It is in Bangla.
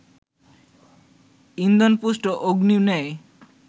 ইন্ধনপুষ্ট অগ্নির ন্যায়